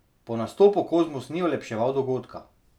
Po nastopu Kozmus ni olepševal dogodka.